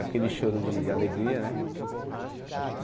Aquele choro de alegria né.